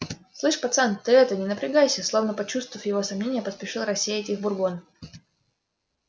слышь пацан ты это не напрягайся словно почувствовав его сомнения поспешил рассеять их бурбон